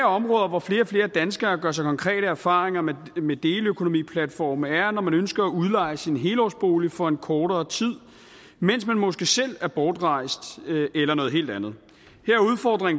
områder hvor flere og flere danskere gør sig konkrete erfaringer med med deleøkonomiplatforme er når man ønsker at udleje sin helårsbolig for en kortere tid mens man måske selv er bortrejst eller noget helt andet